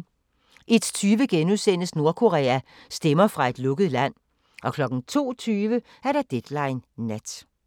01:20: Nordkorea – stemmer fra et lukket land * 02:20: Deadline Nat